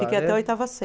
Fiquei até a oitava